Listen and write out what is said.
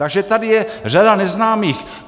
Takže tady je řada neznámých.